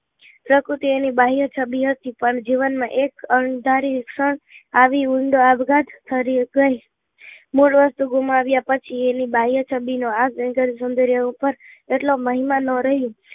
શકુશી એની બાહ્ય છબી હતી પણ જીવન માં એક અણધારી ક્ષણ આવી ઊંડો આપઘાત ધાર્યું કહે મૂળ વસ્તુ ગુમાવ્યા પછી એની બાહ્ય છબી નો આ પર એટલો મહિમા નહે રહે